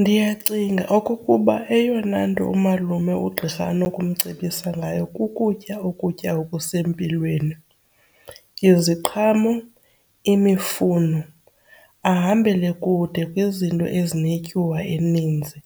Ndiyacinga okokuba eyona nto umalume ugqirha anokumcebisa ngayo kukutya ukutya okusempilweni, iziqhamo, imifuno. Ahambele kude kwizinto ezinetyiwa eninzi,